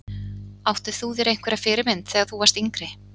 Áttir þú þér einhverja fyrirmynd þegar þú varst yngri?